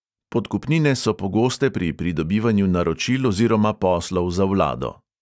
Podkupnine so pogoste pri pridobivanju naročil oziroma poslov za vlado.